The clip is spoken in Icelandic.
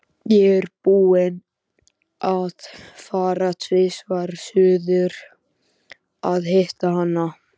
Ég er búinn að fara tvisvar suður að hitta hana.